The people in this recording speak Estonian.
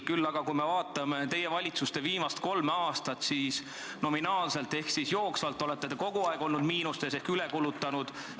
Kuid kui me vaatame teie valitsuste viimast kolme aastat, siis nominaalselt ehk jooksvalt olete te kogu aeg olnud miinustes ehk üle kulutanud.